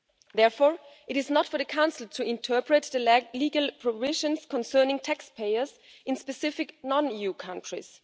Therefore, it is not for the Council to interpret the legal provisions concerning taxpayers in specific non EU countries.